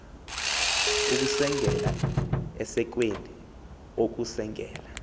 ukusengela esekweni ukusengela